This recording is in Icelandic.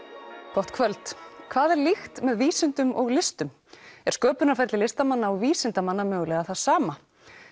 gott kvöld hvað er líkt með vísindum og listum er sköpunarferli listamanna og vísindamanna mögulega það sama